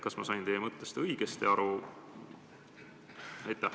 Kas ma sain teie mõttest õigesti aru?